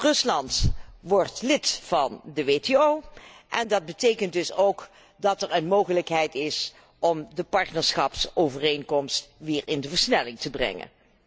Rusland wordt namelijk lid van de WTO en dat betekent dus ook dat er een mogelijkheid is om de partnerschapsovereenkomst weer in de versnelling te brengen.